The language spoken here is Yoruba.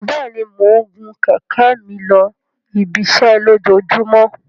Bẹẹni, Mo ń gun kẹ̀kẹ́ mi losi ibiṣẹ lojoojumọ